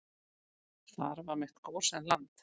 Þar var mitt gósenland.